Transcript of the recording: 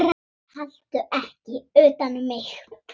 Haltu ekki utan um mig.